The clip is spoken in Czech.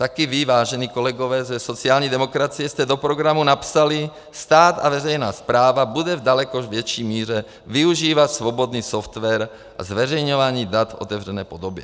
Také vy, vážení kolegové ze sociální demokracie, jste do programu napsali: "Stát a veřejná správa bude v daleko větší míře využívat svobodný software k zveřejňování dat v otevřené podobě."